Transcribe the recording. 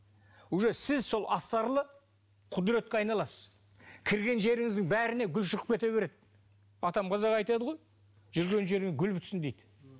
уже сіз сол астарлы құдіретке айналасыз кірген жеріңіздің бәріне гүл шығып кете береді атам қазақ айтады ғой жүрген жеріңе гүл бітсін дейді